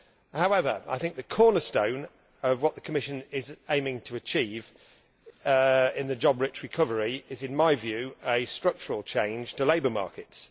However, I think the cornerstone of what the Commission is aiming to achieve in the job rich recovery is, in my view, a structural change to labour markets.